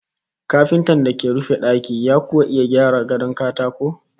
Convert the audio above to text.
Kafintan da ke rufe daki ya kuwa iya gyara gadon katako?